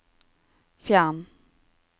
fjern